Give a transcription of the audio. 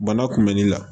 Bana kunbɛnni la